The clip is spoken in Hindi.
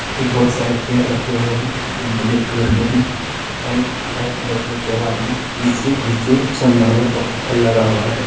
ये बहुत सारे चेयर रखे हुए है जो ब्लैक कलर के है साइड व्हाइट कलर के देवाल है नीचे नीचे संगमरमर का पत्थर लगा हुआ है।